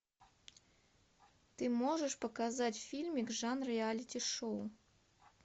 ты можешь показать фильмик жанр реалити шоу